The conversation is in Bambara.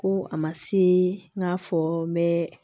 Ko a ma se n k'a fɔ n bɛ